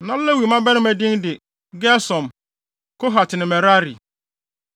Na Lewi mmabarima din de Gersom, Kohat ne Merari.